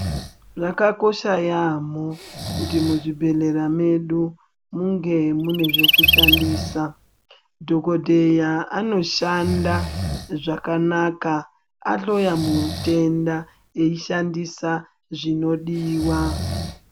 Zvakakosha yambo kuti muzvibhedhlera mwedu munge nezvekushandisa dhokodheya anoshanda zvakanaka ahloya mutenda eyishandisa zvinodiwa.